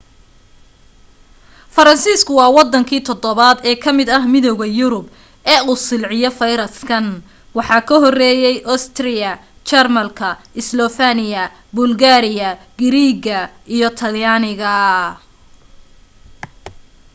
faransiiska waa waddanki toddobaad ee ka mid ah midowga yurub ee uu silciyo fayraskan waxaa ka horeeyay ostiriya jarmalka islofeniya bulgariya giriirga iyo talyaaniga